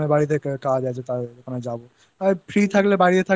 Repairing করে দিতে হবে তাই আমি Fan টা